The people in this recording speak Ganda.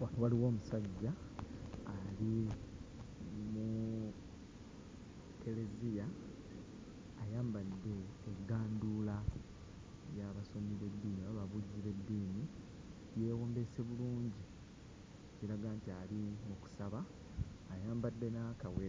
Wa waliwo omusajja ali muuu kkereziya ayambadde egganduula y'abasomi b'eddiini oba ababuulizi b'eddiini yeewombeese bulungi kiraga nti ali mu kusaba ayambadde ayambadde n'akawe